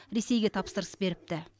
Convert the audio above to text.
ресейге тапсырыс беріпті